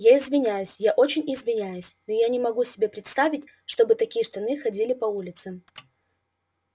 я извиняюсь я очень извиняюсь но я не могу себе представить чтобы такие штаны ходили по улицам